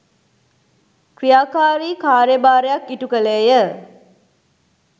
ක්‍රියාකාරී කාර්යභාරයක් ඉටු කළේය